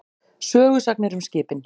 Sögusagnir um skipin.